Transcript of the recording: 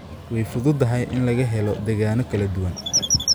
Way fududahay in laga helo degaanno kala duwan.